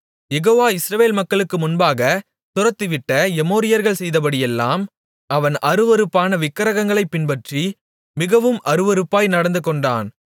யெகோவா இஸ்ரவேல் மக்களுக்கு முன்பாக துரத்திவிட்ட எமோரியர்கள் செய்தபடியெல்லாம் அவன் அருவருப்பான விக்கிரகங்களைப் பின்பற்றி மிகவும் அருவருப்பாய் நடந்துகொண்டான்